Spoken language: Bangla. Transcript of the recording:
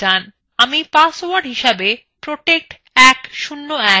আমি পাসওয়ার্ড হিসাবে protect101 লিখলাম